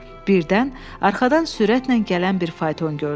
Birdən arxadan sürətlə gələn bir fayton gördü.